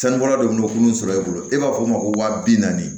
Sanubɔla dɔ bɛ n'u sɔrɔ e bolo e b'a fɔ o ma ko wa bi naani